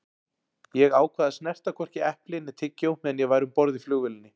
Ég ákvað að snerta hvorki epli né tyggjó meðan ég væri um borð í flugvélinni.